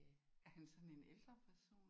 Er han sådan en ældre person?